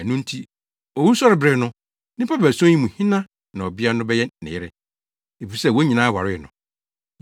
Ɛno nti, owusɔrebere no, nnipa baason yi mu hena na ɔbea no bɛyɛ ne yere? Efisɛ wɔn nyinaa waree no!’ ”